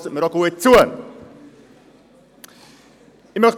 Der Grosse Rat erklärt deshalb hiermit den Klimanotstand.